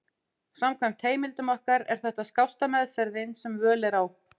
Samkvæmt heimildum okkar er þetta skásta meðferðin sem völ er á.